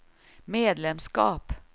medlemskap